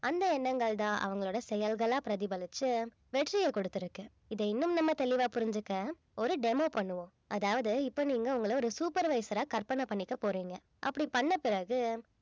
அந்த எண்ணங்கள்தான் அவங்களோட செயல்களா பிரதிபலிச்சு வெற்றியை கொடுத்திருக்கு இதை இன்னும் நம்ம தெளிவா புரிஞ்சுக்க ஒரு demo பண்ணுவோம் அதாவது இப்ப நீங்க உங்கள ஒரு supervisor ஆ கற்பனை பண்ணிக்க போறீங்க அப்படி பண்ண பிறகு